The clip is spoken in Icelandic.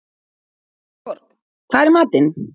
Gunnborg, hvað er í matinn?